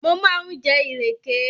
Mo máa ń jẹ ìrèké